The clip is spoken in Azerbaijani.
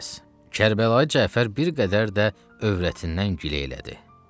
Qərəz, Kərbəlayı Cəfər bir qədər də övrətindən gilə elədi.